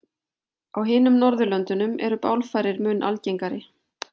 Á hinum Norðurlöndunum eru bálfarir mun algengari.